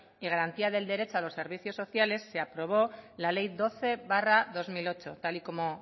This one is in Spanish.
y garantía del derecho a los servicios sociales se aprobó la ley doce barra dos mil ocho tal y como